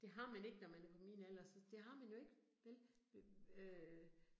Det har man ikke, når man er på min alder, så det har man jo ikke, vel? Øh øh